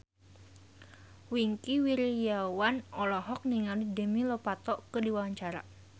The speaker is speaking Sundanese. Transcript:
Wingky Wiryawan olohok ningali Demi Lovato keur diwawancara